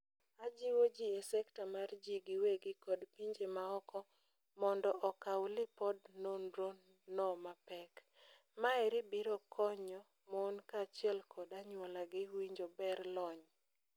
Ajiwo ji e sekta mar jii giwegi kod pinje maoko mondo okao lipod nonro no mapek. Maeri biro kony mon kaachiel kod anyuola gi winjo ber lony.